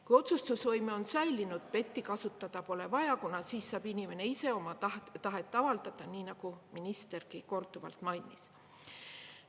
Kui otsustusvõime on säilinud, PET-i kasutada pole vaja, kuna siis saab inimene ise oma tahet avaldada, nii nagu ministergi korduvalt mainis.